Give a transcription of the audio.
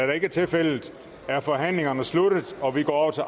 det ikke er tilfældet er forhandlingen sluttet og vi går til